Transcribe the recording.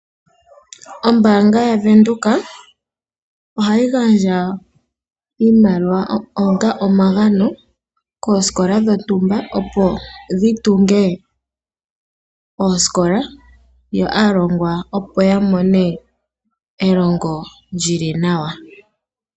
Ombaanga yaVenduka ohayi gandja iimaliwa onga omagano koosikola dhontumba, opo dhi tunge oosikola, yo aalongwa opo ya mone elongo lyili nawa.